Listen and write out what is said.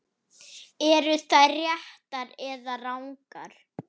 Eru þær réttar eða rangar?